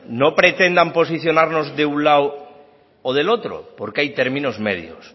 no pretendan posicionarnos de un lado o del otro porque hay términos medios